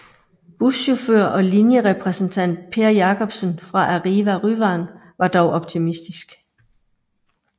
Buschauffør og linjerepræsentant Per Jacobsen fra Arriva Ryvang var dog optimistisk